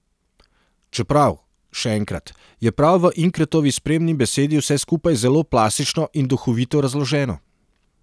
Čeprav, še enkrat, je prav v Inkretovi spremni besedi vse skupaj zelo plastično in duhovito razloženo.